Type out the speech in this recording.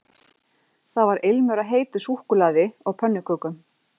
Það var ilmur af heitu súkkulaði og pönnukökum